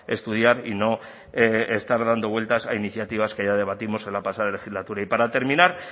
estudiar y no estar dando vueltas a iniciativas que ya debatimos en la pasada legislatura y para terminar